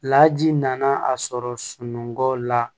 Laji nana a sɔrɔ sunɔgɔ la